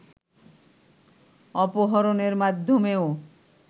অপহরণের মাধ্যমেও